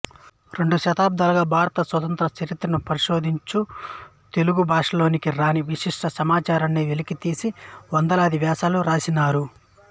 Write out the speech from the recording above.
రెండు దశాబ్దాలుగా భారత స్వాతంత్ర్య చరిత్రను పరిశోధించుచూ తెలుగు భాషలోనికి రాని విశిష్ట సమాచారాన్ని వెలికితీసి వందలాది వ్యాసాలు వ్రాసినారు